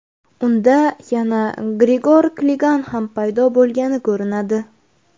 Unda yana Grigor Kligan ham paydo bo‘lgan ko‘rinadi.